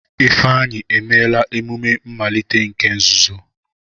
Ifeanyi emela emume mmalite nke nzuzo.